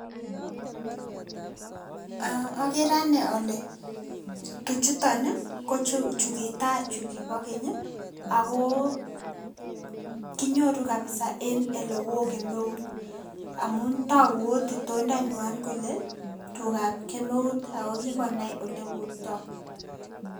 Eeh okere ane ole tuchuton ii kochu kochukitaa chukipo keny ii agoo kinyoru kabisa en olewo kemeut amun togu ot itondanyuan kole tugab kemeut ako kikonai oleburto.